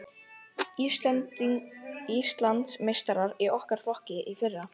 Íslandsmeistarar í okkar flokki í fyrra.